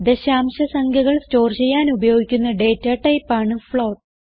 ദശാംശ സംഖ്യകൾ സ്റ്റോർ ചെയ്യാൻ ഉപയോഗിക്കുന്ന ഡേറ്റ ടൈപ്പ് ആണ് ഫ്ലോട്ട്